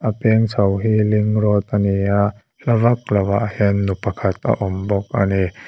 a peng chho hi link road ani a hla vak lo ah hian nu pakhat a awm bawk ani.